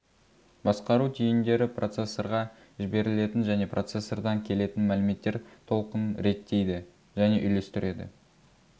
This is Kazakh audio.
басқару түйіндері процессорға жіберілетін және процессордан келетін мәліметтер толқынын реттейді және үйлестіреді